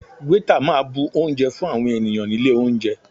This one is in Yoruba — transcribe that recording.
Waiter máa bu oúnjẹ fún àwọn ènìyàn nílé oúnjẹ.